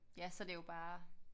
Ja så er det jo bare